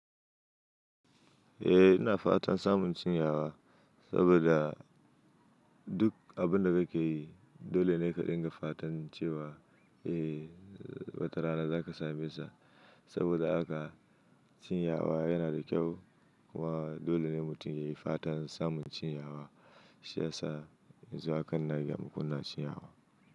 Eh ina fatan samun cinyawa saboda duk abin da kake yi dole ne ka dinga fatan cewa eh watarana za ka same sa. Saboda haka cinyawa yana da kyau wa dole ne mutum ya yi fatan samun cinyawa. Shi ya sa zuwa kan nan ya ma kuna cinyawa.